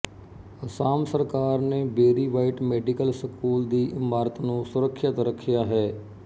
ਅਸਾਮ ਸਰਕਾਰ ਨੇ Berry White medical school ਦੀ ਇਮਾਰਤ ਨੂੰ ਸੁਰੱਖਿਅਤ ਰੱਖਿਆ ਹੈ